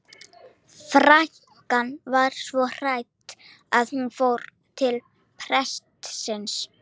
Frænkan var svo hrædd að hún fór til prestsins.